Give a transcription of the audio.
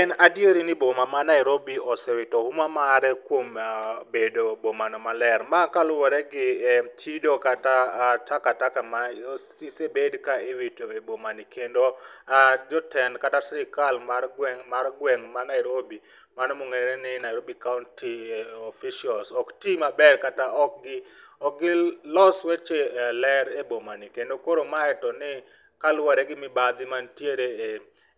En adieri ni boma ma Nairobi osewito huma mare kuom bedo boma maler. Ma kaluore gi chido kata taka taka ma osebed ka iwito e boma ni kendo jotend kata sirkal mar gweng',mar gweng' ma Nairobi mano mongere ni Nairobi kaunti officials ok tii maber kata ok gilos weche ler e bomani kendo koro mae en kaluore gi mibadhi ma nitire